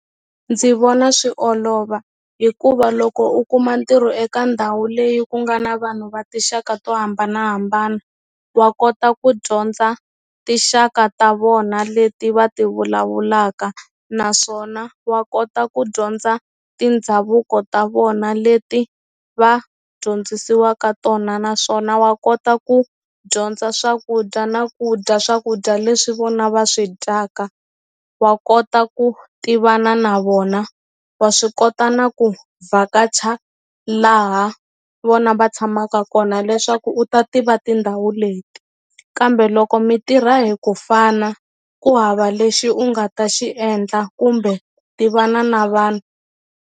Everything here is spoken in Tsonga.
Ndzi vona swi olova hikuva loko u kuma ntirho eka ndhawu leyi ku nga na vanhu va tinxaka to hambanahambana wa kota ku dyondza tinxaka ta vona leti va ti vulavulaka naswona wa kota ku dyondza tindhavuko ta vona leti va dyondzisiwaka tona naswona wa kota ku dyondza swakudya na ku dya swakudya leswi vona va swi dyaka wa kota ku tivana na vona wa swi kota na ku vhakacha laha vona va tshamaka kona leswaku u ta tiva tindhawu leti kambe loko mi tirha hi ku fana ku hava lexi u nga ta xi endla kumbe tivana na vanhu.